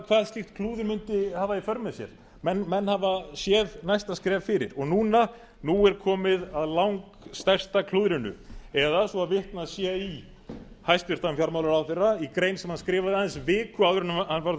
hvað slíkt klúður mundi hafa í för með sér menn hafa séð næsta skref fyrir og núna núna er komið að langbesta klúðrinu eða svo vitnað sé í hæstvirtum fjármálaráðherra í grein sem hann skrifaði aðeins viku áður en hann varð